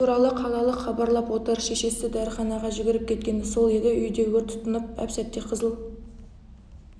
бұл туралы қалалық хабарлап отыр шешесі дәріханаға жүгіріп кеткені сол еді үйде өрт тұтанып әп-сәтте қызыл